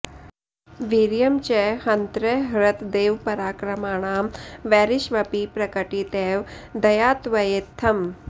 वीर्यं च हन्तृ हृतदेवपराक्रमाणां वैरिष्वपि प्रकटितैव दया त्वयेत्थम्